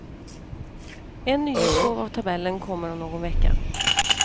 En nyutgåva av tabellen kommer om någon vecka.